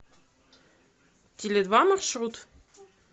теледва маршрут